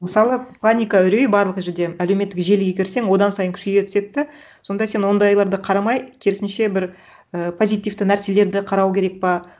мысалы паника үрей барлық жерде әлеуметтік желіге кірсең одан сайын күшейе түседі да сонда сен ондайларды қарамай керісінше бір і позитивті нәрселерді қарау керек па